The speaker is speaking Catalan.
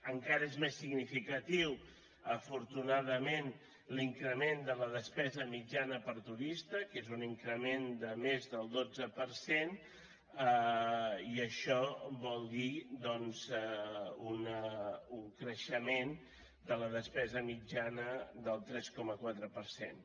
encara és més significatiu afortunadament l’increment de la despesa mitjana per turista que és un increment de més del dotze per cent i això vol dir doncs un creixement de la despesa mitjana del tres coma quatre per cent